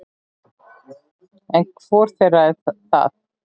En hvor þeirra er það?